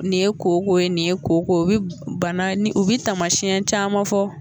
Nin ye koko ye , nin ye koko ye, u bi bana, u bi tamasiyɛn caman fɔ